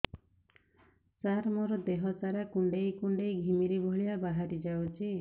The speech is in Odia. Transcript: ସାର ମୋର ଦିହ ସାରା କୁଣ୍ଡେଇ କୁଣ୍ଡେଇ ଘିମିରି ଭଳିଆ ବାହାରି ଯାଉଛି